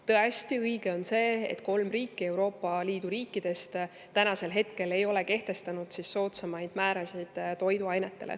Tõesti, õige on see, et kolm riiki Euroopa Liidu riikidest ei ole kehtestanud soodsamaid määrasid toiduainetele.